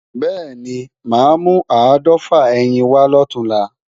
Bẹ́ẹ̀ni, mà á mú áàdọ́fà ẹyin wá lọ̀túnla